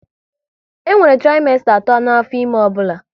E nwere trimesta atọ n'afọ ime ọbụla